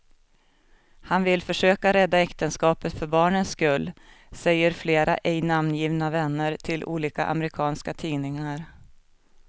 Han vill försöka rädda äktenskapet för barnens skull, säger flera ej namngivna vänner till olika amerikanska tidningar.